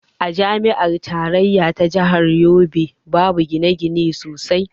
A jami'ar tarayya ta jahar yobe babu gine-gine sosai.